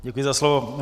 Děkuji za slovo.